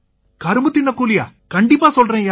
கரும்பு தின்னக் கூலியா கண்டிப்பா சொல்றேன்யா